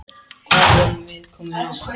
Hvað vorum við komin langt?